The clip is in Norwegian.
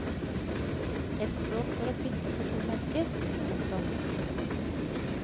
Et språk for å pynte på tomme esker. punktum